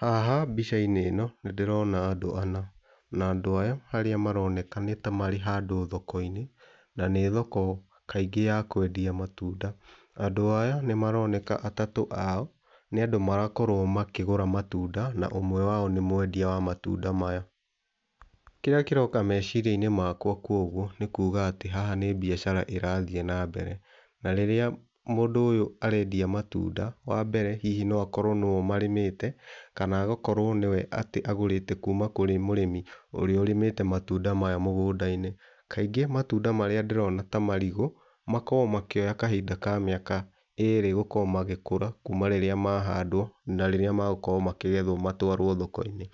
Haha mbica-inĩ ĩno nĩ ndĩrona andũ ana. Na andũ aya arĩa maroneka nĩ ta marĩ handũ thoko-inĩ na nĩ thoko kaingĩ ya kwendia matunda. Andũ aya nĩ maroneka atatũ ao nĩ andũ marakorwo makĩgũra matunda na ũmwe wao nĩ mwendia wa matunda maya. Kĩrĩa kĩroka meciria-inĩ makwa koguo nĩ kuga atĩ haha nĩ mbiacara ĩrathĩe na mbere na rĩrĩa mũndũ ũyũ arendia matunda wambere hihi no akorwo nĩwe ũmarĩmĩte kana agakorwo nĩwe atĩ agũrĩte kuma kũrĩ mũrĩmi ũrĩa ũrĩmĩte matunda maya mũgũnda-inĩ. Kaingĩ matunda marĩa ndĩrona ta marigũ makoragwo makĩoya kahinda ka mĩaka erĩ gũkorwo magĩkũra kuma rĩrĩa mahandwo na rĩrĩa magũkorwo makĩgethwo matwarwo thoko-inĩ.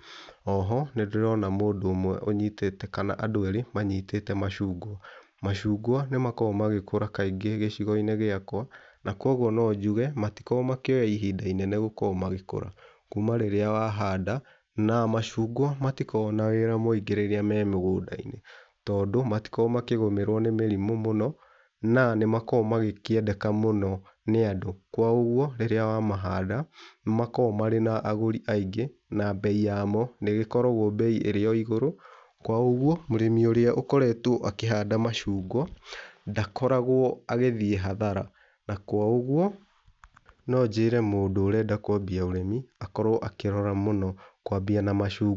Oho nĩndĩrona mũndũ ũmwe ũnyitĩte, kana andũ erĩ macungwa. Macungwa nĩ makoragwo magĩkũra kaingĩ gĩcigo-inĩ gĩakwa na kwa ũguo no njuge matikoragwo makĩoya ihinda inene gũkorwo magĩkura, kuma rĩria wahanda na macungwa matikoragwo na wĩra mũingĩ rĩrĩa me mũgũnda-inĩ tondũ matikoragwo makĩgũmĩrwo nĩ mĩrimũ mũno na nĩmakoragwo magĩkĩendeka mũno nĩ andũ kwa ũgũo rĩrĩa wamahanda nĩ makoragwo marĩ na agũri aingĩ na mbei yamo nĩ ĩgĩkoragwo mbei ĩrĩ o igũrũ, kwa ũguo mũrĩmi ũrĩa ũkoretwo akĩhanda macungwa ndakoragwo agĩthĩe hathara na kwa ũguo, no njĩre mũndũ ũrenda kwambia ũrĩmi akorwo akĩrora mũno kwambia na macungwa.